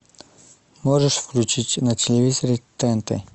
можешь включить на телевизоре тнт